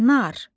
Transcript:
Nar.